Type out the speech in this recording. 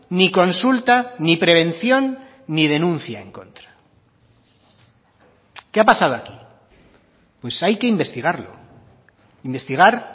ni consulta ni prevención ni denuncia en contra qué ha pasado aquí pues hay que investigarlo investigar